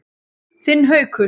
Þinn Haukur.